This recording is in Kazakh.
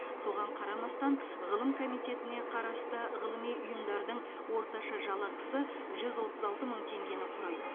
соған қарамастан ғылым комитетіне қарасты ғылыми ұйымдардың орташа жалақысы жүз отыз алты мың теңгені құрайды